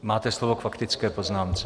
Máte slovo k faktické poznámce.